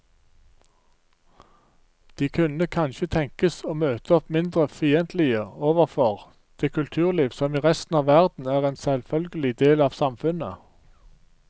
De kunne kanskje tenkes å møte opp mindre fiendtlige overfor det kulturliv som i resten av verden er en selvfølgelig del av samfunnet.